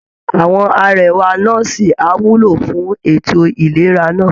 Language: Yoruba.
Àwọn arẹwà nọ́ọ̀sì á wúlò fún ètò ìlera náà